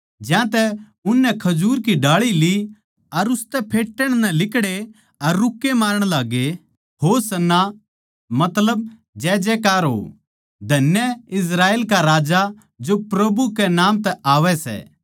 ज्यांतै उननै खजूर की डाळी ली अर उसतै फेट्टण नै लिकड़े अर रूक्के मारण लाग्गे होशाना मतलब जैजैकार हो धन्य इस्राएल का राजा जो प्रभु कै नाम तै आवै सै